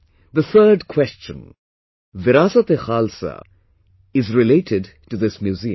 The third question 'VirasateKhalsa' is related to this museum